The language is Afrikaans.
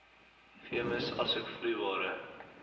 veemis asook vloeibare